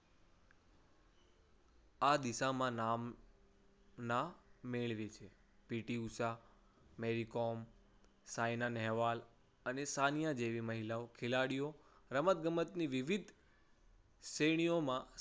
આ દિશામાં નામ ના મેળવી છે. પી ટી ઉષા, મેરી કોમ, સાયના નેહવાલ અને સાનિયા જેવી મહિલા ખેલાડીઓ રમતગમતની વિવિધ શ્રેણીઓમાં